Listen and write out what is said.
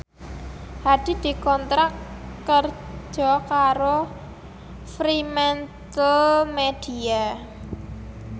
Hadi dikontrak kerja karo Fremantlemedia